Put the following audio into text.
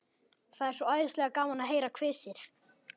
Það er svo æðislega gaman að heyra hvissið.